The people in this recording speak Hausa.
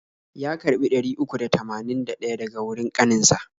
Ya karbi ɗari uku da tamanin da ɗaya daga wurin kanin sa.